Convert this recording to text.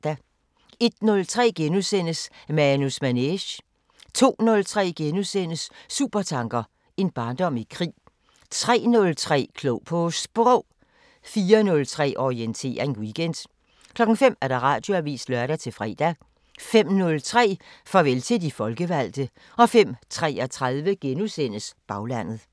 01:03: Manus Manege * 02:03: Supertanker: En barndom i krig * 03:03: Klog på Sprog 04:03: Orientering Weekend 05:00: Radioavisen (lør-fre) 05:03: Farvel til de folkevalgte 05:33: Baglandet *